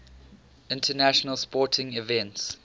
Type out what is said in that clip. international sporting events